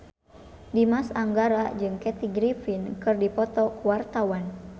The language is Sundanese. Dimas Anggara jeung Kathy Griffin keur dipoto ku wartawan